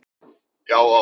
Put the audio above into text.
Já, oft